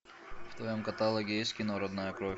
в твоем каталоге есть кино родная кровь